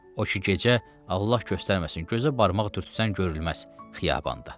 O ki gecə, Allah göstərməsin, gözə barmaq dürt sən görünməz xiyabanda.